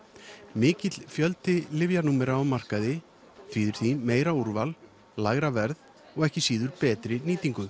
mikill fjöldi lyfjanúmera á markaði þýðir því meira úrval lægra verð og ekki síður betri nýtingu